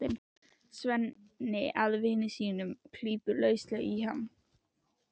Svenni að vini sínum og klípur lauslega í hann.